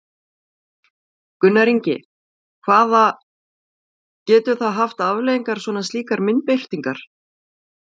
Gunnar Ingi, hvaða, getur það haft afleiðingar svona slíkar myndbirtingar?